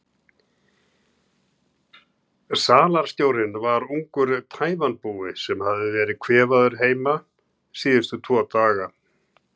Ég ætla ekki að útiloka eitt eða neitt.